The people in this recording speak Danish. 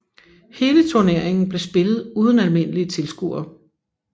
Hele turneringen blev spillet uden almindelige tilskuere